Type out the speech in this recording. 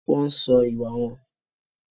Wọ́n ń sọ́ ìwà wọn.